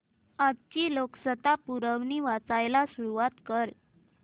आजची लोकसत्ता पुरवणी वाचायला सुरुवात कर